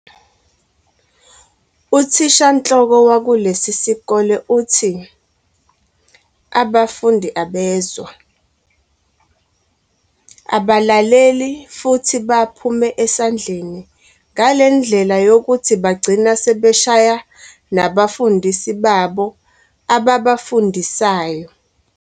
UThishanhloko wakulesisikole uthi abafundi abezwa, abalaleli futhi baphume esandleni ngalendlela yokuthi bagcina sebeshaya nabafundisi babo ababafundisayo.